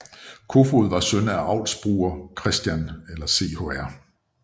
Koefoed var søn af avlsbruger Chr